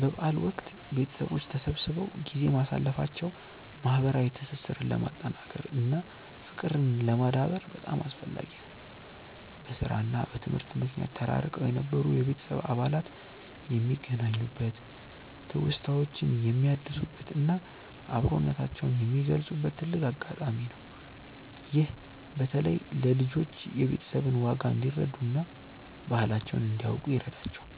በበዓል ወቅት ቤተሰቦች ተሰብስበው ጊዜ ማሳለፋቸው ማህበራዊ ትስስርን ለማጠናከር እና ፍቅርን ለማዳበር በጣም አስፈላጊ ነው። በስራ እና በትምህርት ምክንያት ተራርቀው የነበሩ የቤተሰብ አባላት የሚገናኙበት፣ ትውስታዎችን የሚያድሱበት እና አብሮነታቸውን የሚገልጹበት ትልቅ አጋጣሚ ነው። ይህም በተለይ ለልጆች የቤተሰብን ዋጋ እንዲረዱ እና ባህላቸውን እንዲያውቁ ይረዳቸዋል።